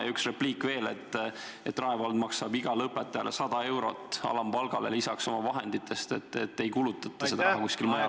Ja üks repliik veel: Rae vald maksab omavahenditest igale õpetajale 100 eurot alampalgale lisaks, seda raha ei kulutata millekski muuks.